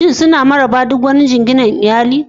Shin suna ma raba duk wani jinginar iyali?